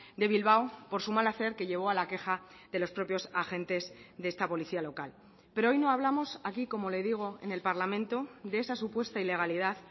de bilbao por su mal hacer que llevó a la queja de los propios agentes de esta policía local pero hoy no hablamos aquí como le digo en el parlamento de esa supuesta ilegalidad